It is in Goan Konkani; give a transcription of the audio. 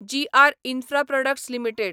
जी आर इन्फ्राप्रॉडक्ट्स लिमिटेड